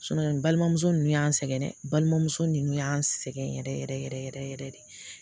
n balimamuso ninnu y'an sɛgɛn dɛ balimamuso ninnu y'an sɛgɛn yɛrɛ yɛrɛ yɛrɛ yɛrɛ yɛrɛ de